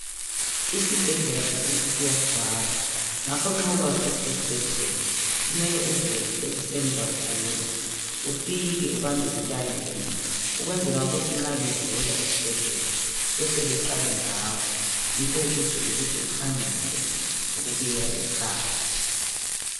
Isibhedlela sakithi siyagcwala. Ngakho nxa ukwazi ukuthi uya esibhedlela kumele uvuke ekuseni kakhulu ufike ubambe I line ukwenzela ukuthi nxa bevula esibhedlela bahle baqale ngawe .Yikho ukuze kuthi uphangise ukubuyela ekhaya.